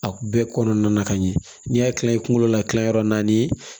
A bɛɛ kɔnɔna na ka ɲɛ n'i y'a kila i kunkolo la tila yɔrɔ naani